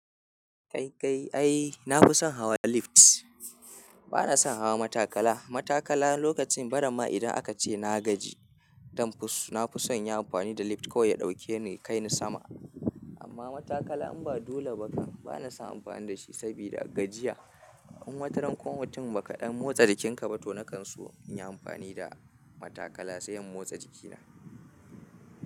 Kai kai ai na fi son hawa lift. Ba na son hawa matakala. Matakala lokacin bara ma idan aka ce na gaji, don fus na fi son yin amfani da lift ko ya ɗauke ni kai ni sama. Amma matakala in ba dole ba ka, ba na son amfani da shi sabida gajiya. In wataran kwamitin ba kaɗan motsa jikinka ba to na kan so in yi amfani da matakala sai in motsa jikina.